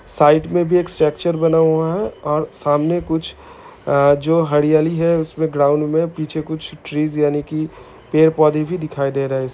Side में भी एक स्ट्रक्चर बना हुआ है और सामने कुछ अ जो हरियाली है उस में ग्राउन्ड में पीछे कुछ ट्रीज यानि की पेड़ - पौधे भी दिखाई दे रहे हैं।